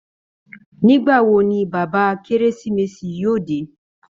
Nígbà wo ni bàbá kérésìmesì yóò dé?